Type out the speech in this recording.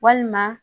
Walima